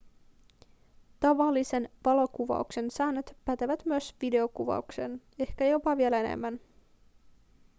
tavallisen valokuvauksen säännöt pätevät myös videokuvaukseen ehkä jopa vielä enemmän